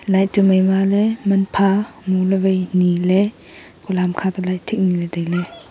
light tu maima le man pha mu le wai ni le ekole hamkha te light thik ni le taile.